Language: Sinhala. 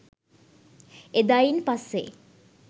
එදායින් පස්සෙ